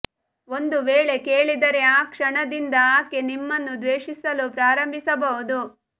ಒಂದು ವೇಳೆ ಕೇಳಿದರೆ ಆ ಕ್ಷಣದಿಂದ ಆಕೆ ನಿಮ್ಮನ್ನು ದ್ವೇಶಿಸಲು ಪ್ರಾರಂಭಿಸಬಹುದು